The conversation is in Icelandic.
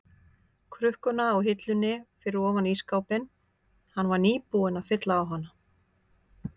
krukkuna á hillunni fyrir ofan ísskápinn, hann var nýbúinn að fylla á hana.